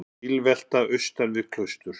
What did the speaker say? Bílvelta vestan við Klaustur